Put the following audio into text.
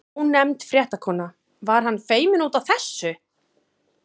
Ónefnd fréttakona: Var hann feiminn út af þessu?